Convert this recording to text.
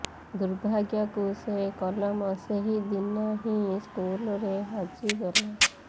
ଦୁର୍ଭାଗ୍ୟକୁ ସେ କଲମ ସେହି ଦିନ ହିଁ ସ୍କୁଲରେ ହଜିଗଲା